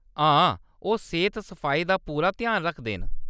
हां, ओह्‌‌ सेह्‌त- सफाई दा पूरा ध्यान रखदे न।